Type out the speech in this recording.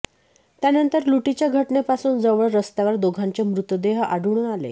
त्यानंतर लुटीच्या घटनेपासून जवळ रस्त्यावर दोघांचे मृतदेह आढळून आले